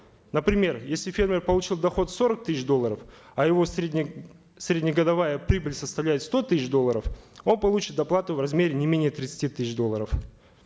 например если фермер получил доход сорок тысяч долларов а его средне среднегодовая прибыль составляет сто тысяч долларов он получит доплату в размере не менее тридцати тысяч долларов